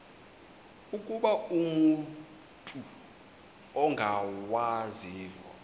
ukuba umut ongawazivo